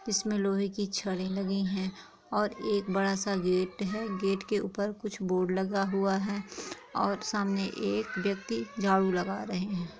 इसमें लोहे की छड़े लगी हुई है और एक बड़ा-सा गेट है गेट के ऊपर कुछ बोर्ड लगा हुआ है और सामने एक व्यक्ति झाड़ू लगा रहे हैं।